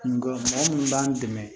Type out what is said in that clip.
N ka mɔgɔ minnu b'an dɛmɛ